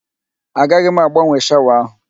Agaghị m agbanwe shawa áhụ̀.